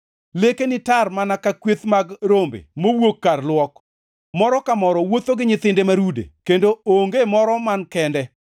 Lekeni tar mana ka kweth mag rombe mowuok kar luok. Moro ka moro wuotho gi nyithinde ma rude kendo onge moro man kende.